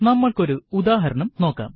നമ്മൾക്ക് ഒരു ഉദാഹരണം നോക്കാം